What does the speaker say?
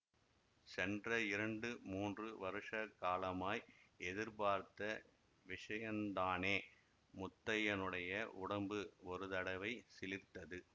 சென்ற இரண்டு மூன்று வருஷ காலமாய் எதிர்பார்த்த விஷயந்தானே முத்தையனுடைய உடம்பு ஒரு தடவை சிலிர்த்தது